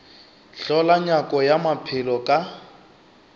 hlola nyako ya maphelo ka